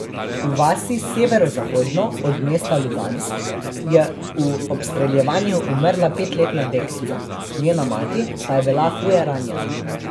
V vasi severozahodno od mesta Lugansk je v obstreljevanju umrla petletna deklica, njena mati pa je bila huje ranjena.